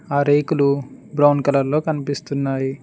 ఆ రేకులు brown colour లో కనిపిస్తున్నాయి.